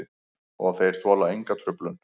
Og þeir þola enga truflun.